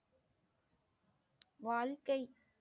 வாழ்க்கை